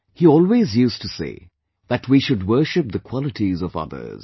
He always used to say that we should worship the qualities of others